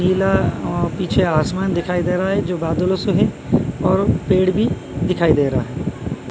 नीला अ पीछे आसमान दिखाई दे रहा है जो बदलो से है और पेड़ भी दिखाई दे रहा है।